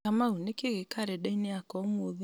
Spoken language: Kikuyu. kamau nĩ kĩĩ gĩ karenda-inĩ yakwa ũmũthĩ